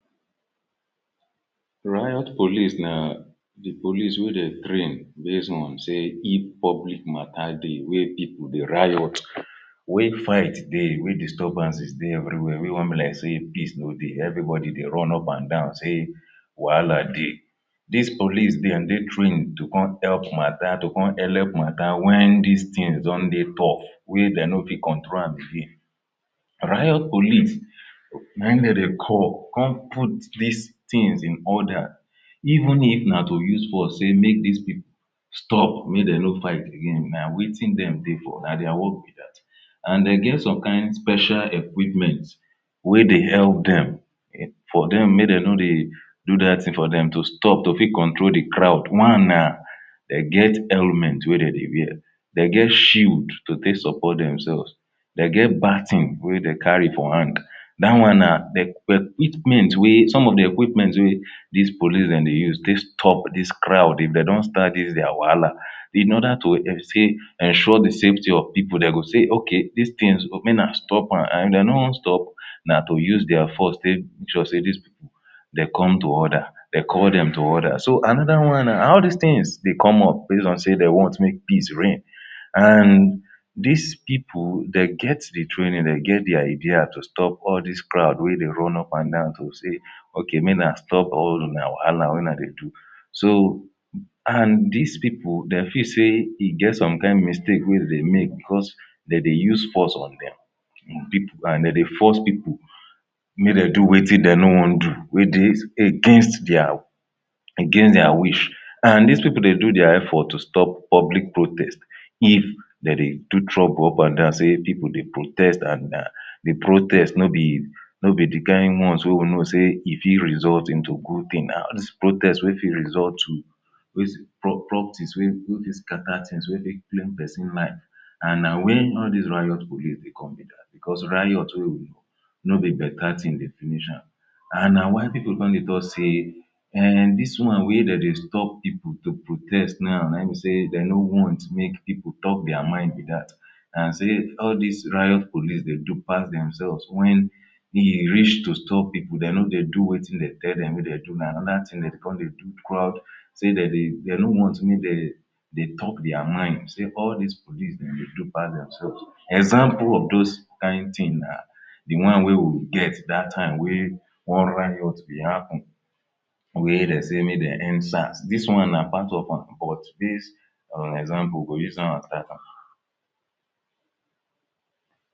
Riot police na dey police wey dem train base on sey if public matter dey wey pipul dey riot where fight dey, where disturbances dey everywhere, where e come be like sey peace no dey, everybody dey run up and down sey wahala dey. Dis police dem dey trained to come help matter, to come helep matter when dis things don dey tough wey dey no fit control am again. Riot police na im dem dey call, come put these things in order even if na to use force sey make dis stop, make dem no fight again na wetin dem dey for na dia work be dat and e get some kain special equipment wey dey help dem for dem, make dem no dey do dat thing for dem to stop, to fit control dey crowd. One na dey get helmet wey dem dey wear, dey get shield to take support demselves. dey get baton wey dey carry for hand. dat one na equipment wey, some of dey equipment wey dis police dem dey use take stop dis crowd if dey don start dis dia wahala in order to ensure dey safety of people, dey go say "okay these things make una stop am". if dey no stop na to use dia force take sure dis people dem come to order, dey call dem to order. So another one na all these things dey come up base on sey dey want make peace reign. And dis pipul, dey get dey training, dey get dey idea to stop all dis crowd wey dey run up and down to say okay make una stop una wahala wey una dey do. So and dis people dem feel sey e get some kain mistake dem dey make because dey dey use force on dem, and dey dey force pipul make dem do wetin dey no wan do wey dey against dia wish and these pipul dey do dia effort to stop public protest if dey dey do trouble up and down sey people dey protest and na dey protest no be no be dey kain ones wey we know sey e if e result into good thing, all dis protests wey fit result to waste properties wey go scatter things, wey claim pesin life and na when all dis riot police dey come be dat because riot wey no be better thing dey finish am. And na why people come dey talk sey um dis wan wey dem dey stop pipul to protest now na im be sey dem no want make pipul talk dia mind be dat. and sey all dis riot police dey do pass demselves when e reach to stop pipul dey no dey do wetin dey tell dem make dem do na another thing dey come dey do crowd. sey dem no want make dem talk dia mind, sey all dis police dem dey do pass demselves. Example of those kain thing na dey wan wey we get dat time wey one riot be happen wey dem sey make dem end sars, dis one na part of am but base on exaample we go use am as data.